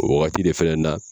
O wagati de fɛnɛ na